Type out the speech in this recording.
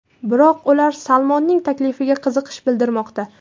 Biroq ular Salmonning taklifiga qiziqish bildirmoqda.